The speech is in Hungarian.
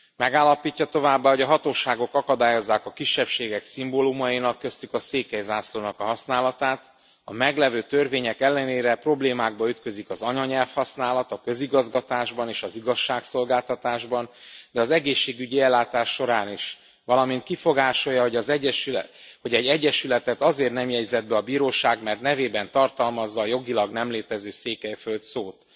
Megállapítja továbbá, hogy a hatóságok akadályozzák a kisebbségek szimbólumainak, köztük a székely zászlónak a használatát, a meglevő törvények ellenére problémákba ütközik az anyanyelvhasználat a közigazgatásban és az igazságszolgáltatásban, de az egészségügyi ellátás során is, valamint kifogásolja, hogy egy egyesületet azért nem jegyzett be a bíróság, mert nevében tartalmazza a jogilag nem létező Székelyföld szót.